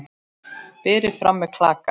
Berið fram með klaka.